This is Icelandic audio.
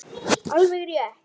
Alveg rétt.